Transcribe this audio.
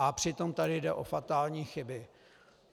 A přitom tady jde o fatální chyby.